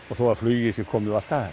og þó að flugið sé komið og allt það